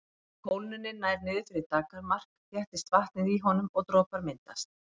Ef kólnunin nær niður fyrir daggarmark þéttist vatnið í honum og dropar myndast.